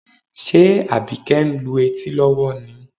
Ṣe Àbíkẹ́ ń lu etí lọ́wọ́ ni?